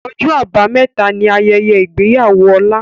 Ọjọ́ Àbámẹ̀ta ni Ayẹyẹ ìgbéyàwó Ọlá